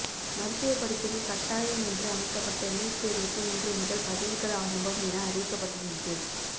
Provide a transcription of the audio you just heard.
மருத்துவ படிப்புக்கு கட்டாயம் என்று அமைக்கப்பட்ட நீட் தேர்வுக்கு இன்று முதல் பதிவுகள் ஆரம்பம் என அறிவிக்கப்பட்டிருந்தது